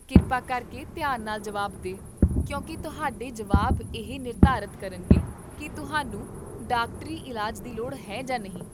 ਕਿਰਪਾ ਕਰਕੇ ਧਿਆਨ ਨਾਲ ਜਵਾਬ ਦੇ, ਕਿਉਂਕਿ ਤੁਹਾਡੇ ਜਵਾਬ ਇਹ ਨਿਰਧਾਰਤ ਕਰਨਗੇ ਕੀ ਤੁਹਾਨੂੰ ਡਾਕਟਰੀ ਇਲਾਜ ਦੀ ਲੋੜ ਹੈ ਜਾਂ ਨਹੀਂ